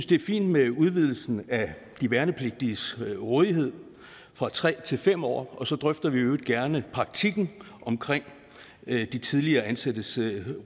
det er fint med udvidelsen af de værnepligtiges rådighed fra tre til fem år og så drøfter vi i øvrigt gerne praktikken omkring de tidligere ansattes